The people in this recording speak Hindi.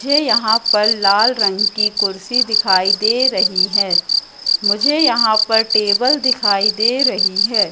झे यहां पर लाल रंग की कुर्सी दिखाई दे रही है मुझे यहां पर टेबल दिखाई दे रही है।